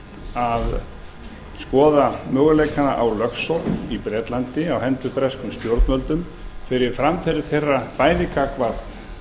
að skoða möguleikana á lögsókn í bretlandi á hendur breskum stjórnvöldum fyrir framferði þeirra bæði gagnvart